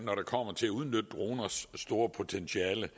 når det kommer til at udnytte droners store potentiale